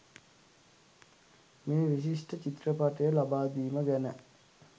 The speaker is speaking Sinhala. මේ විශිෂ්ට චිත්‍රපටය ලබා දීම ගැන.